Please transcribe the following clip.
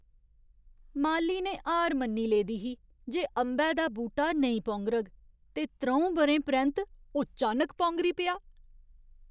माली ने हार मन्नी लेदी ही जे अंबै दा बूह्टा नेईं पौंगरग, ते त्र'ऊं ब'रें परैंत्त ओह् चानक पौंगरी पेआ।